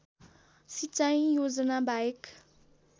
सिंचाइ योजना बाहेक